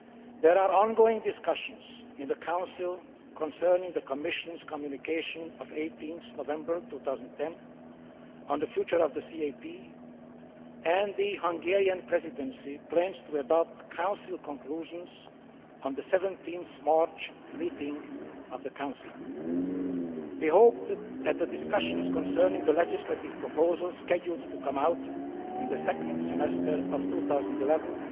There are ongoing discussions in the Council concerning the Commission's Communication of 18 November 2010 on the future of the CAP, and the Hungarian Presidency plans to adopt Council conclusions at the Council meeting of 17 March. We hope that the discussions concerning the legislative proposals scheduled to come out in the second semester of 2011